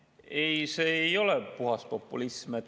Ei, see ei ole puhas populism.